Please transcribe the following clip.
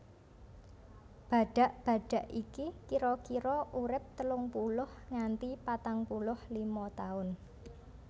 Badhak badhak iki kira kira urip telung puluh nganti patang puluh lima taun